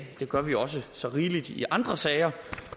det gør vi også så rigeligt i andre sager